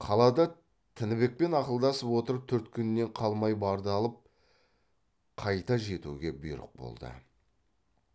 қалада тінібекпен ақылдасып отырып төрт күннен қалмай барды алып қайта жетуге бұйрық болды